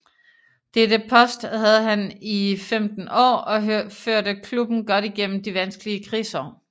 Dette post havde han i 15 år og førte klubben godt igennem de vanskelige krigsår